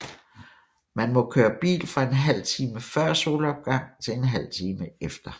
Man må køre bil fra en halv time før solopgang til en halv time efter